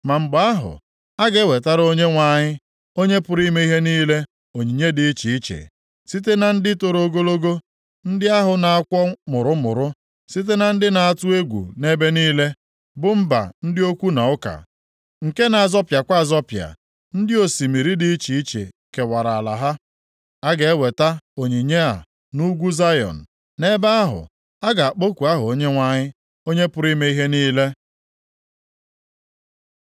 Ma mgbe ahụ, a ga-ewetara Onyenwe anyị, Onye pụrụ ime ihe niile onyinye dị iche iche, site na ndị toro ogologo, ndị ahụ na-akwọ mụrụmụrụ, site na ndị a na-atụ egwu nʼebe niile, bụ mba ndị okwu na ụka, + 18:7 Maọbụ, asụsụ dị iche nke na-azọpịakwa azọpịa, ndị osimiri dị iche iche kewara ala ha. A ga-eweta onyinye + 18:7 \+xt Abụ 72:10; Aịz 16:2; Zef 3:10\+xt* a nʼUgwu Zayọn, nʼebe ahụ a na-akpọku aha Onyenwe anyị, Onye pụrụ ime ihe niile.